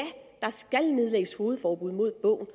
der skal nedlægges fogedforbud mod bogen